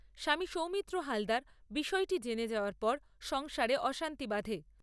স্বামী সৌমিত্র হালদার বিষয়টি জেনে যাওয়ার পর সংসারে অশান্তি বাধে।